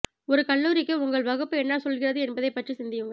ஒரு கல்லூரிக்கு உங்கள் வகுப்பு என்ன சொல்கிறது என்பதைப் பற்றி சிந்தியுங்கள்